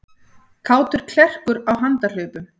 Kátur klerkur á handahlaupum